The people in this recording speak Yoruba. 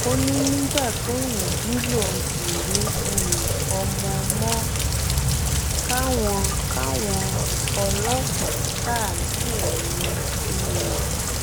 ó ní nígbà tóun jí lòun kò rí um ọmọ mọ káwọn káwọn ọlọpàá ṣàánú òun um